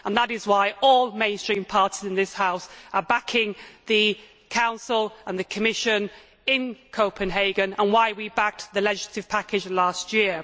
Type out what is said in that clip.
That is why all the mainstream parties in this House are backing the Council and the Commission in Copenhagen and why we backed the legislative package last year.